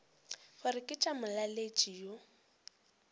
gore ke tša molaletši yo